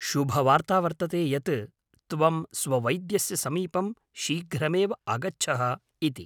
शुभवार्ता वर्तते यत् त्वं स्ववैद्यस्य समीपं शीघ्रमेव आगच्छः इति।